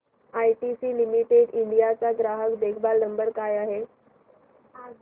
ITC limited India चा ग्राहक देखभाल नंबर काय आहे